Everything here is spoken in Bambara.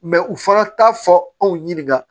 u fana t'a fɔ anw ɲininka